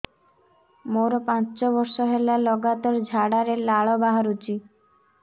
ମୋରୋ ପାଞ୍ଚ ବର୍ଷ ହେଲା ଲଗାତାର ଝାଡ଼ାରେ ଲାଳ ବାହାରୁଚି